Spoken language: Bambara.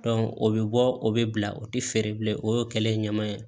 o bɛ bɔ o bɛ bila o tɛ feere bilen o y'o kɛlen ye ɲama ye